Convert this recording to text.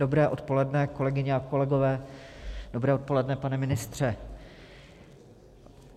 Dobré odpoledne, kolegyně a kolegové, dobré odpoledne, pane ministře.